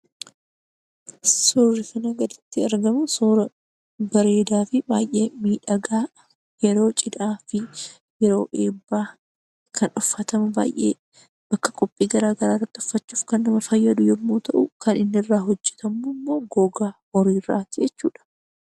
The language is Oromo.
Suurri kana gaditti argamu suuraa bareedaa fi baay'ee miidhagaa yeroo cidhaa fi yeroo eebbaa kan uffatamu qophii garaagaraa irratti uffachuuf kan nama fayyadu yommuu ta'u, kan inni irraa hojjatamu immoo gogaa irraati jechuudha.